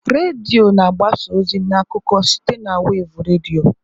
Redio na-agbasa ozi na akụkọ site na wevụ redio.